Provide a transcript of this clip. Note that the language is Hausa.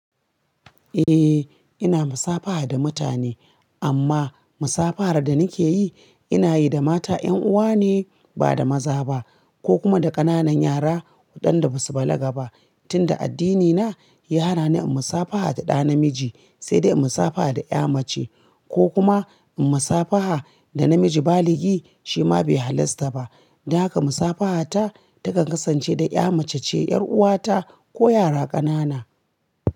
Eh ina musafaha da mutane amma musafahar da nake yi ina yi da mata 'yan'uwa ne ba da maza ba ko kuma da ƙananan yara waɗanda basu balaga ba tinda addinina ya hana ni yin musafaha da ɗa namiji sai dai musafaha da ƴa mace ko kuma musafaha da namiji baligi shi ma bai halasta ba. Don haka musafaha ta takan kasance da ƴa mace ce, 'yar'uwa ta ko yara ƙanana.